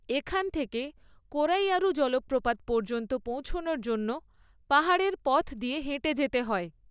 এখান থেকে কোরাইয়ারু জলপ্রপাত পর্যন্ত পৌঁছনোর জন্য পাহাড়ের পথ দিয়ে হেঁটে যেতে হয়।